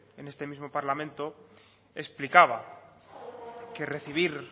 en este mismo parlamento explicaba que recibir